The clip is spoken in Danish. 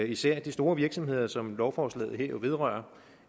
især de store virksomheder som lovforslaget her vedrører